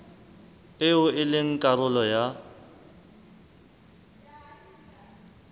eo e leng karolo ya